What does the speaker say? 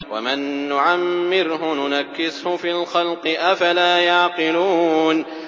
وَمَن نُّعَمِّرْهُ نُنَكِّسْهُ فِي الْخَلْقِ ۖ أَفَلَا يَعْقِلُونَ